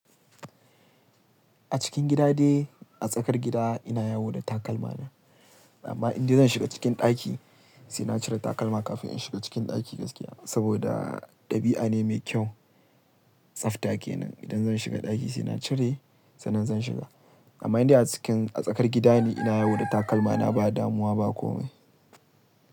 A cikin gida ne, a tsakar gida ina yawo da takalma na. Amma in dai zan shiga cikin ɗaki, sai na cire takalma kafin in shiga cikin ɗaki gaskiya. Saboda ɗabi'a ne mai kyau, tsafta kenan. Idan zan shiga ɗaki sai na cire, sannan zan shiga. Amma in dai a cikin, a tsakar gida ne ina yawo da takalma na ba damuwa ba komai.